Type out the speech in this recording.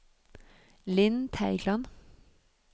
Linn Teigland